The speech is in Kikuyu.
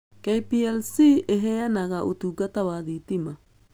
KPLC ĩheanaga ũtungata wa thitima.